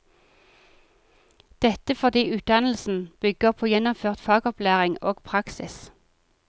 Dette fordi utdannelsen bygger på gjennomført fagopplæring og praksis.